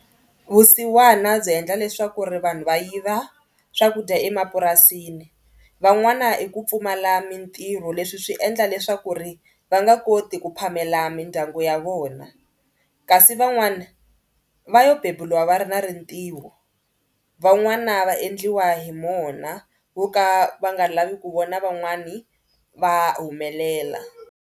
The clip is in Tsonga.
Vusiwana byi endla leswaku ri vanhu va yiva swakudya emapurasini. Van'wana i ku pfumala mitirho leswi swi endla leswaku ri va nga koti ku phamela mindyangu ya vona kasi van'wana va yo beburiwa va ri na rintiho. Van'wana va endliwa hi mona vo ka va nga lavi ku vona van'wani va humelela.